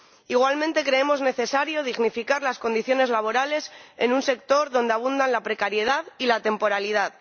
Igualmente, creemos necesario dignificar las condiciones laborales en un sector donde abunda la precariedad y la temporalidad.